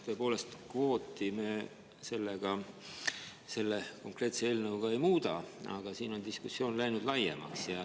Tõepoolest, kvooti me selle konkreetse eelnõuga ei muuda, aga siin on diskussioon läinud laiemaks.